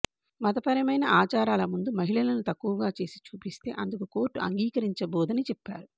మతపరమైన ఆచారాల ముందు మహిళలను తక్కువగా చేసి చూపిస్తే అందుకు కోర్టు అంగీకరించబోదని చెప్పారు